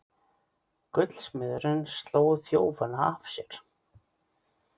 Gullsmiðurinn sló þjófana af sér